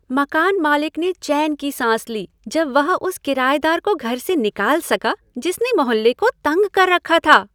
मकान मालिक ने चैन की साँस ली जब वह उस करायेदार को घर से निकाल सका जिसने मोहल्ले को तंग कर रखा था।